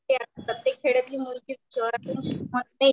खेड्यातली मुलगी शहरातली मुलगी